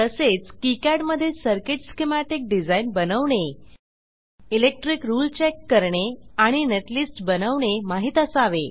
तसेच किकाड मध्ये circuit schematic design बनवणे इलेक्ट्रिक रुळे चेक करणे आणि नेटलिस्ट बनवणे माहित असावे